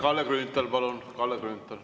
Kalle Grünthal, palun!